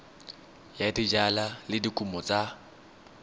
ya dijalo le dikumo tsa